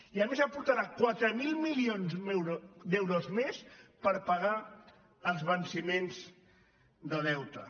i a més aportarà quatre mil milions d’euros més per pagar els venciments de deute